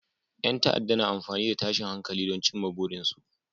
Yan ta'adda na amfani da tashin hankali don cimma burinsu